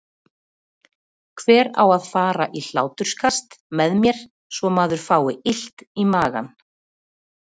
Hver á að fara í hláturskast með mér svo maður fái illt í magann?